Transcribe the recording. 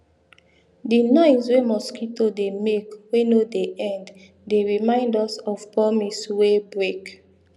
di noise wey mosquito dey make wey no dey end dey remind us of promise wey break